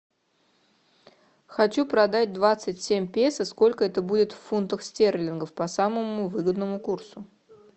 хочу продать двадцать семь песо сколько это будет в фунтах стерлингах по самому выгодному курсу